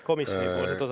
Komisjoni osa.